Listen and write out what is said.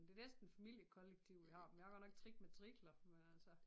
Det næsten familiekollektiv vi har vi har godt nok 3 matrikler men altså